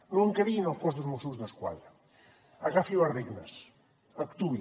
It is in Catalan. no en creï en el cos dels mossos d’esquadra agafi les regnes actuï